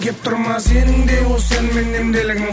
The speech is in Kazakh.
кеп тұр ма сенің де осы әнмен емделгің